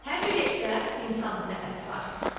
Hər bir evdə insan nəfəsi var.